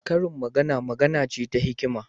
Karin magana magana ce ta hikima.